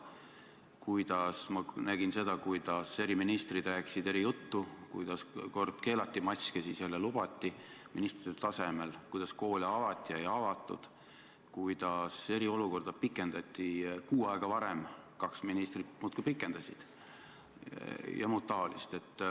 Ma nägin seda, kuidas eri ministrid rääkisid eri juttu, kuidas kord keelati maske, siis jälle lubati, kuidas koole avati ja ei avatud, kuidas eriolukorda pikendati – kaks ministrit muudkui pikendasid – ja muud taolist.